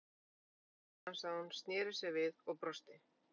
Allt í einu snarstansaði hún, snéri sér við og brosti.